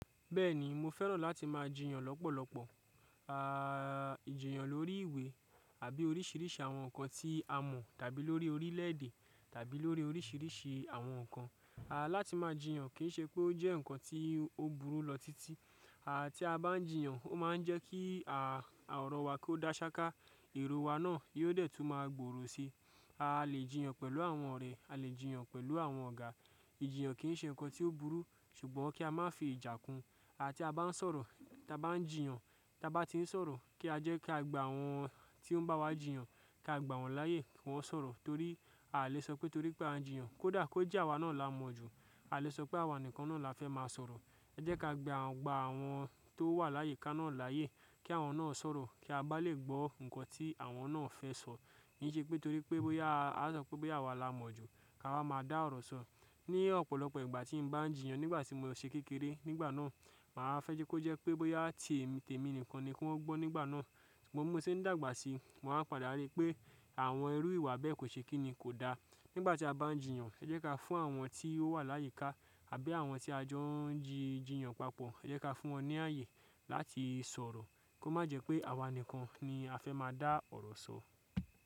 Bẹ́ẹ̀ni mo fẹ́ràn láti máa jìyàn lọ́pọ̀lọpọ̀. Àà ìjìyàn lórí ìwé àbí oríṣìíríṣìí àwọn nǹkan tí a mọ̀ tàbí lórí orílẹ̀ èdè tàbí lórí oríṣìíríṣìí àwọn nǹkan. À láti máa jìyàn kì ń ṣe pé ó jẹ́ nǹkan tí ó burú lọ títí. À tí a bá ń jìyàn ó máa ń jẹ́ kí à ọ̀rọ̀ wa kó dá ṣáká, èrò wa náà yóò dẹ̀ tún máa gbòòrò sí i. A lè jìyàn pẹ̀lú àwọn ọ̀rẹ́, a lè jìyàn pẹ̀lú àwọn ọ̀gá. Ìjìyàn kì í ṣe nǹkan tí ó burú ṣùgbọ́n kí a má fi ìjà kun À tí a bá ń sọ̀rọ̀, tí a bá ń jìyàn, tí a bá ti ń sọ̀rọ̀ kí á jẹ́ ká gba àwọn tí ó ń bá wa jìyàn, ká gba wọn láyè kí wọ́n sọ̀rọ̀ torí a lè sọ pé torí pé a ń jìyàn kó dà kó jẹ́ àwa náà la mọ̀ jù. A lè sọ pé àwa nìkan náà la fẹ́ máa sọ̀rọ̀. Ẹ jẹ́ ká gba à ń gba àwọn tó wà láyìíká náà láyè kí àwọn náà sọ̀rọ̀ kí a bá lè gbọ́ nǹkan tí àwọn náà fẹ́ sọ. Ní ṣe pé torí pé bóyá a sọ pé bí àwa la mọ̀ jù ká wá máa dá ọ̀rọ̀ sọ. Ní ọ̀pọ̀lọpọ̀ ìgbà tí n bá ń jìyàn nígbà tí mo ṣé kékeré nígbà náà, màá fẹ́ jẹ́ kó jẹ́ pé bóyá tèmi nìkan ni kí wọ́n gbọ́ nígbà náà. Ṣùgbọ́n mo mọ̀ sí ní dàgbà sí i mo máa ń padà rí pé àwọn irú ìwà bẹ́ẹ̀ kò ṣe kíni, kò da. Nígbà tí a bá ń jìyàn ẹ jẹ́ ká fún àwọn tí ó wà láyìíká àbí àwọn tí a jọ ń jìyàn papọ̀ ẹ jẹ́ ká fún wọn ní ààyè láti sọ̀rọ̀ kó má jẹ́ pé àwa nìkan ni a fẹ́ má a dá ọ̀rọ̀ sọ.